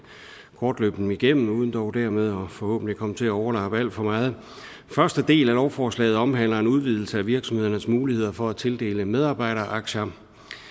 kort løbe dem igennem uden dog dermed forhåbentlig at komme til at overlappe alt for meget første del af lovforslaget omhandler en udvidelse af virksomhedernes muligheder for at tildele medarbejderaktier